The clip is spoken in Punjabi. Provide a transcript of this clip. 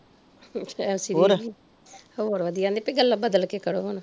ਜੈ ਮਸੀ ਦੀ ਜੀ ਹੋਰ ਵਧੀਆ ਨੀਤੇ ਗੱਲਾਂ ਬਦਲ ਕੇ ਕਰੋ ਹੁਣ